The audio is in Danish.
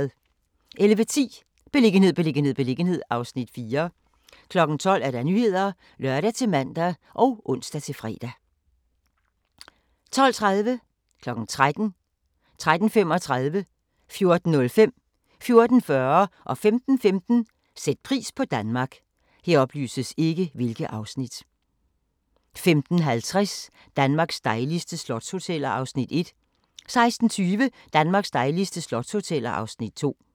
11:10: Beliggenhed, beliggenhed, beliggenhed (Afs. 4) 12:00: Nyhederne (lør-man og ons-fre) 12:30: Sæt pris på Danmark 13:00: Sæt pris på Danmark 13:35: Sæt pris på Danmark 14:05: Sæt pris på Danmark 14:40: Sæt pris på Danmark 15:15: Sæt pris på Danmark 15:50: Danmarks dejligste slotshoteller (Afs. 1) 16:20: Danmarks dejligste slotshoteller (Afs. 2)